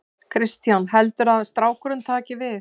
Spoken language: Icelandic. Kristján: Heldurðu að strákurinn taki við?